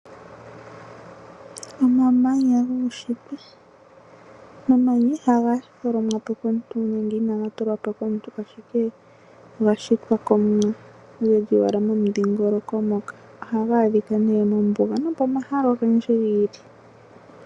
Omamanya guunshitwe. Omamanya ihaga tholomwapo komuntu nenge inaga tulwapo komuntu ashike oga shitwa komumwa nohaga kala momundhingoloko moka. Ohaga adhika mombuga nopomahala ogendji giili.